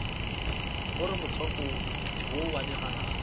gore motswako wo wa digalagala